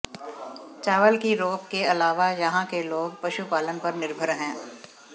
चावल की रोप के अलावा यहां के लोग पशुपालन पर निर्भर हैं